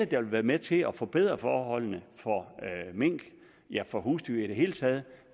der vil være med til at forbedre forholdene for mink ja for husdyr i det hele taget